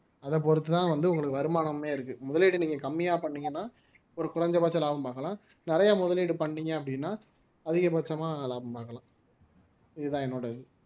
அதை பொறுத்துதான் வந்து உங்களுக்கு வருமானமே இருக்கு முதலீடு நீங்க கம்மியா பண்ணீங்கன்னா ஒரு குறைந்தபட்ச லாபம் பார்க்கலாம் நிறைய முதலீடு பண்ணீங்க அப்படின்னா அதிகபட்சமா லாபம் பார்க்கலாம் இதுதான் என்னோட இது